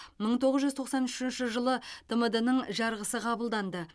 мың тоғыз жүз тоқсан үшінші жылы тмд ның жарғысы қабылданды